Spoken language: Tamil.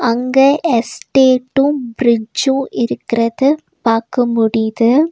அங்க எஸ்டேட்டு பிரிட்ஜு இருக்குறத பாக்க முடியுது.